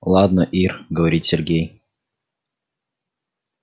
ладно ир говорит сергей